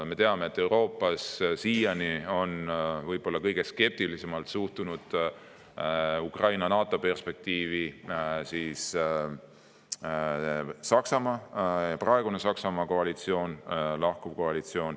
Me teame, et Euroopas on siiani kõige skeptilisemalt suhtunud Ukraina NATO-perspektiivi praegune Saksamaa koalitsioon, lahkuv koalitsioon.